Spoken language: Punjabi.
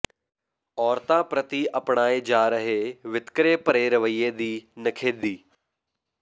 ਔਰਤਾਂ ਪ੍ਰਤੀ ਅਪਣਾਏ ਜਾ ਰਹੇ ਵਿਤਕਰੇ ਭਰੇ ਰਵਈਏ ਦੀ ਨਿਖੇਧੀ